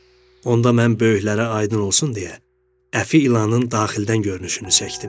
Onda mən böyüklərə aydın olsun deyə əfi ilanın daxildən görünüşünü çəkdim.